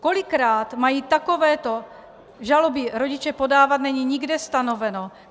Kolikrát mají takovéto žaloby rodiče podávat, není nikde stanoveno.